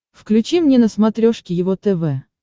включи мне на смотрешке его тв